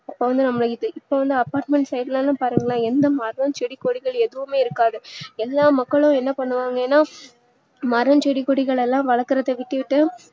மன அமைதி apartment side லா பாருங்களே எந்த மரம் செடி கொடிகளும் இருக்காது எல்லா மக்களும் என்ன பண்ணுவாங்க ஏன்னா மரம் செடி கொடிகளெல்லாம் வலக்கரத விட்டுட்டு